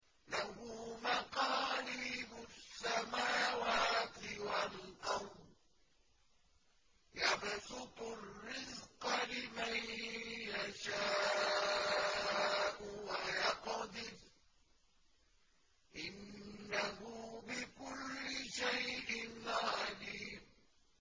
لَهُ مَقَالِيدُ السَّمَاوَاتِ وَالْأَرْضِ ۖ يَبْسُطُ الرِّزْقَ لِمَن يَشَاءُ وَيَقْدِرُ ۚ إِنَّهُ بِكُلِّ شَيْءٍ عَلِيمٌ